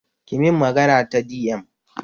ki min magana ta di em